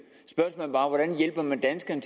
er